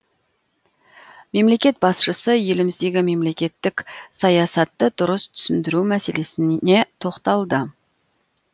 мемлекет басшысы еліміздегі мемлекеттік саясатты дұрыс түсіндіру мәселесіне тоқталды